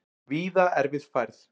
Víða erfið færð